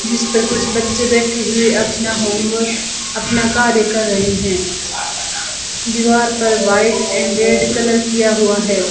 जिस पर कुछ बच्चे बैठे हुए अपना होमवर्क अपना कार्य कर रहे हैं दीवार पर व्हाइट एंड रेड कलर किया हुआ है।